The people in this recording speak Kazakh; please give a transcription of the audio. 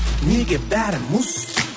неге бәрі мұз